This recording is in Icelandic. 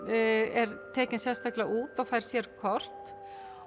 er tekinn út og fær sérkort